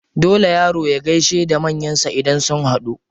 Dole yaro ya gaishe da manyan shi idan sun haɗu.